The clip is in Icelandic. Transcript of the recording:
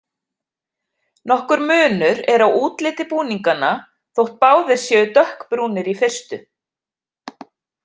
Nokkur munur er á útliti búninganna, þótt báðir séu dökkbrúnir í fyrstu.